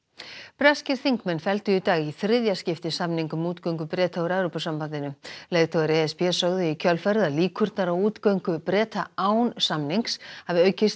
breskir þingmenn felldu í dag í þriðja skipti samning um útgöngu Breta úr Evrópusambandinu leiðtogar e s b sögðu í kjölfarið að líkurnar á útgöngu Breta án samnings hafi aukist